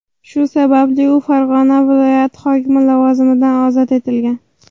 Shu sababli u Farg‘ona viloyati hokimi lavozimidan ozod etilgan .